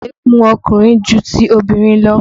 Egun ọkùnrin ju ti obìnrin lọ.